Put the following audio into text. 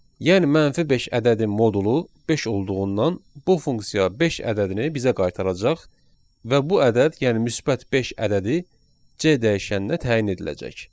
Yəni -5 ədədi modulu 5 olduğundan, bu funksiya 5 ədədini bizə qaytaracaq və bu ədəd, yəni müsbət 5 ədədi C dəyişəninə təyin ediləcək.